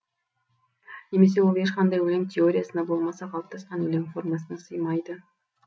немесе ол ешқандай өлең теориясына болмаса қалыптасқан өлең формасына сыймайды